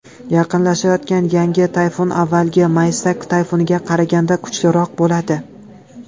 Yaqinlashayotgan yangi tayfun avvalgi Maysak tayfuniga qaraganda kuchliroq bo‘ladi.